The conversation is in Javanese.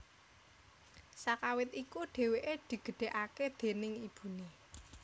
Sakawit iku dhewke digedhekake déning ibune